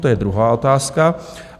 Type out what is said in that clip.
To je druhá otázka.